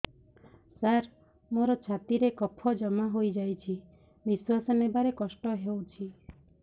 ସାର ମୋର ଛାତି ରେ କଫ ଜମା ହେଇଯାଇଛି ନିଶ୍ୱାସ ନେବାରେ କଷ୍ଟ ହଉଛି